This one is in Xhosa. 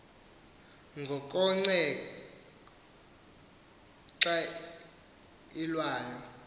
ngokongece xa ilwayo